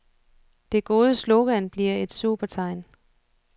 Det gode slogan bliver et supertegn.